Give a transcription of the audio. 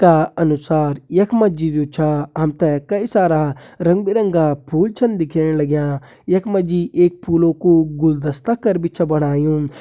का अनुसार यखमा जी जो छा हमते कई सारा रंग-बिरंगा फूल छन दिख्येण लाग्यां यखमा जी एक फूलो कु गुलदस्ता कर भी छै बणायूँ।